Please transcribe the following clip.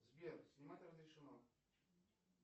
сбер снимать разрешено